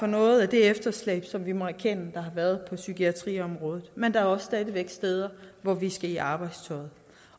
noget af det efterslæb som vi må erkende der har været på psykiatriområdet men der er også stadig væk steder hvor vi skal i arbejdstøjet